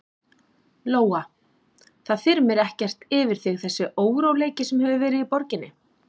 Lóa: Það þyrmir ekkert yfir þig þessi óróleiki sem hefur verið í borginni?